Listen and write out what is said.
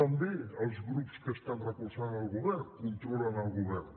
també els grups que estan recolzant al govern controlen el govern